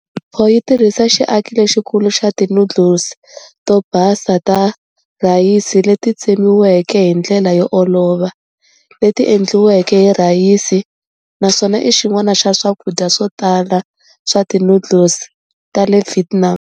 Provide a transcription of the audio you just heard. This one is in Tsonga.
Pho yi tirhisa xiaki lexikulu xa ti noodles to basa ta rhayisi leti tsemiweke hi ndlela yo olova, leti endliweke hi rhayisi, naswona i xin'wana xa swakudya swo tala swa ti noodle ta le Vietnam.